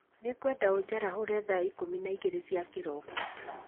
Nĩngwenda ũnjarahũre thaa ikũmi na igĩrĩ cia kĩroko